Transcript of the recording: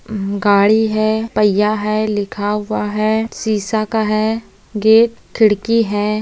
म गाड़ी है पहिया है लिखा हुआ है शीश का है गेट खिड़की है।